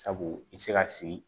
Sabu i bɛ se ka sigi